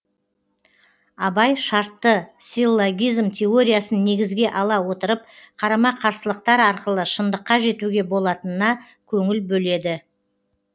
абай шартты силлогизм теориясын негізге ала отырып қарама қарсылықтар арқылы шыңдыққа жетуге болатынына көңіл бөледі